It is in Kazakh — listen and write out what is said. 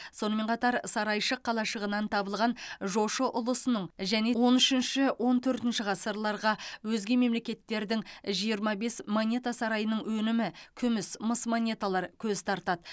сонымен қатар сарайшық қалашығынан табылған жошы ұлысының және он үшінші он төртінші ғасырларға өзге мемлекеттердің жиырма бес монета сарайының өнімі күміс мыс монеталар көз тартады